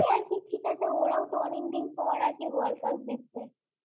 ঠিক আছে ওরাও তো অনেকদিন পর world cup জিতচ্ছে।